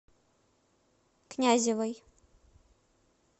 князевой